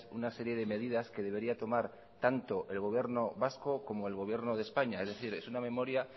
una serie de medidas que debería tomar tanto el gobierno vasco como el gobierno de españa es decir es una memoria